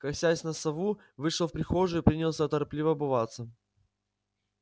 косясь на сову вышел в прихожую принялся торопливо обуваться